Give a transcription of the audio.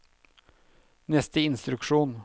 neste instruksjon